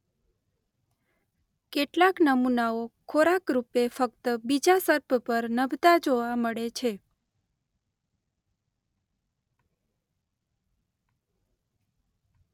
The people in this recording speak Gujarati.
કેટલાક નમુનાઓ ખોરાકરૂપે ફક્ત બીજા સર્પ પર નભતા જોવા મળે છે.